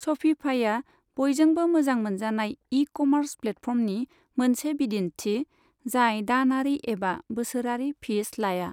शपिफाइआ बयजोंबो मोजां मोनजानाय इ कमार्स प्लेटफर्मनि मोनसे बिदिन्थि जाय दानारि एबा बोसोरारि फिस लाया।